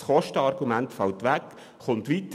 Das Kostenargument fällt somit weg.